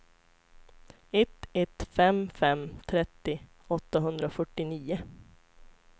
ett ett fem fem trettio åttahundrafyrtionio